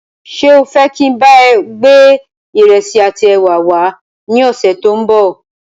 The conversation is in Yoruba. Ṣé o fẹ je kín bá ọ gbé ìrẹsì àti ẹwà wá ní ọ̀sẹ̀ tòun bọ̀?